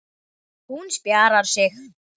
Hún spjarar sig.